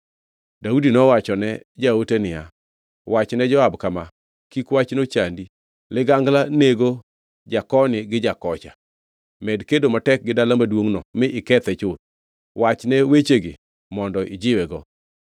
Daudi nowachone jaote niya, “Wachne Joab kama: Kik wachno chandi; ligangla nego jakoni gi jakocha. Med kedo matek gi dala maduongʼno mi ikethe chuth. Wachne wechegi mondo ijiwego.”